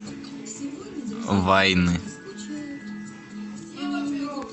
вайны